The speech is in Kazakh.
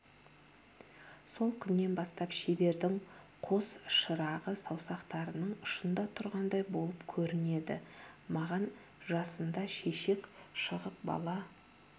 сол күннен бастап шебердің қос шырағы саусақтарының ұшында тұрғандай болып көрінеді маған жасында шешек шығып бала